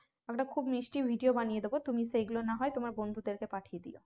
আমরা খুব মিষ্টি video বানিয়ে দেবো তুমি সেগুলো না হয় তোমার বন্ধুদেরকে পাঠিয়ে দিও